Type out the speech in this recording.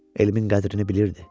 Elmin qədrini bilirdi.